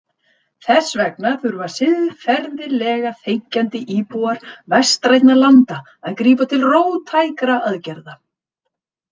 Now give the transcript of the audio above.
Þess vegna þurfa siðferðilega þenkjandi íbúar vestrænna landa að grípa til róttækra aðgerða.